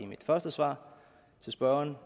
første svar til spørgeren